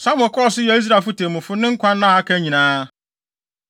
Samuel kɔɔ so yɛɛ Israel so temmufo ne nkwa nna a aka nyinaa.